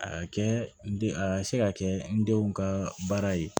A ka kɛ n den a ka se ka kɛ n denw ka baara ye